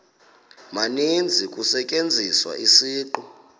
maninzi kusetyenziswa isiqu